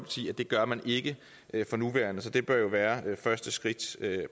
det gør man ikke for nuværende så det bør jo være første skridt